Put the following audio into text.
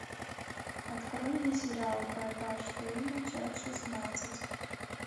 открой мне сериал врата штейна часть шестнадцать